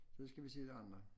Så skal vi se de andre